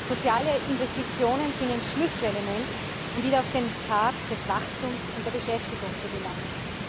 Soziale Investitionen sind ein Schlüsselelement, um wieder auf den Pfad des Wachstums und der Beschäftigung zu gelangen.